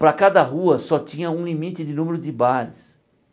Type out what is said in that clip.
Para cada rua, só tinha um limite de número de bares.